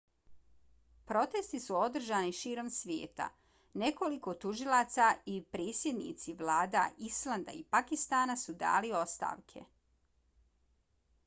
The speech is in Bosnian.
protesti su održani širom svijeta. nekoliko tužilaca i predsjednici vlada islanda i pakistana su dali ostavke